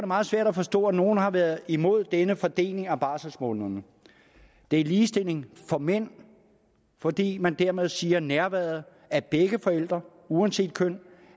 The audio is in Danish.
meget svært at forstå at nogle har været imod denne fordeling af barselsmånederne det er ligestilling for mænd fordi man dermed siger at nærværet af begge forældre uanset køn